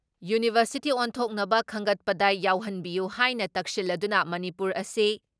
university ꯑꯣꯟꯊꯣꯛꯅꯕ ꯈꯟꯒꯠꯄꯗ ꯌꯥꯎꯍꯟꯕꯤꯌꯨ ꯍꯥꯏꯅ ꯇꯛꯁꯤꯜꯂꯗꯨꯅ ꯃꯅꯤꯄꯨꯔ ꯑꯁꯤ